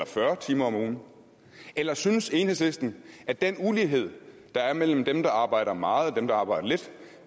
fyrre timer om ugen eller synes enhedslisten at den ulighed der er mellem dem der arbejder meget og dem der arbejder lidt